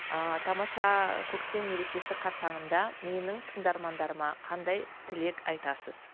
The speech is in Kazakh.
ыыы тамаша көктем мерекесі қарсаңында менің тыңдармандарыма қандай тілек айтасыз